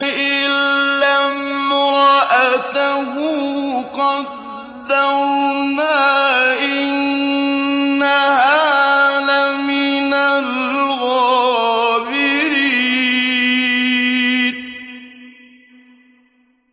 إِلَّا امْرَأَتَهُ قَدَّرْنَا ۙ إِنَّهَا لَمِنَ الْغَابِرِينَ